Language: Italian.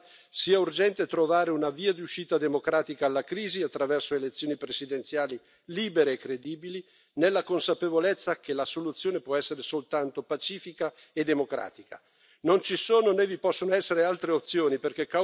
Io penso che nella situazione di stallo politico attuale sia urgente trovare una via di uscita democratica alla crisi attraverso elezioni presidenziali libere e credibili, nella consapevolezza che la soluzione può essere soltanto pacifica e democratica.